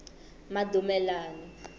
madumelani